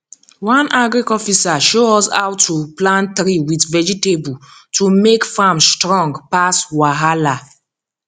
one agric officer show us how to plant tree with vegetable to make farm strong pass wahala